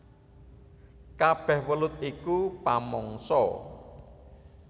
Kabèh welut iku pamangsa